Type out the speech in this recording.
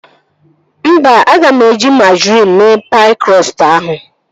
Mba, aga m eji majrin mee paị krọstụ ahụ